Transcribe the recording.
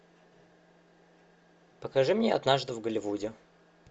покажи мне однажды в голливуде